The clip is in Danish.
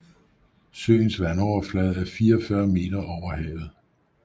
Søens vandoverflade er 44 m over havet